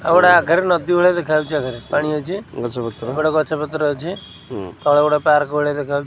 ଆଉ ଗୋଟା ଆଘରେ ନଦୀ ଭଳିଆ ଦେଖା ଯାଉଚି ଆଗରେ ପାଣି ଅଛି ଏପଟେ ଗଛ ପତ୍ର ଅଛି ତଳେ ଗୋଟା ପାର୍କ ଭଳିଆ ଦେଖାଉହୋଉ--